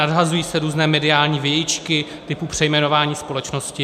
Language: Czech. Nadhazují se různé mediální vějičky typu přejmenování společnosti.